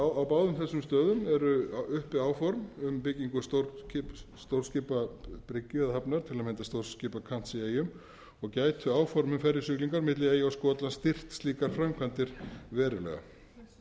stöðum eru uppi áform um byggingu stórskipabryggju eða hafnar til að mynda stórskipakants í eyjum og gætu áform um ferjusiglingar milli eyja og skotlands styrkt slíkar framkvæmdir verulega